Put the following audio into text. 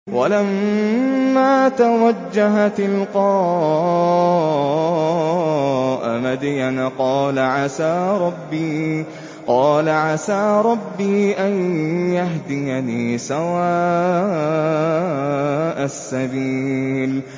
وَلَمَّا تَوَجَّهَ تِلْقَاءَ مَدْيَنَ قَالَ عَسَىٰ رَبِّي أَن يَهْدِيَنِي سَوَاءَ السَّبِيلِ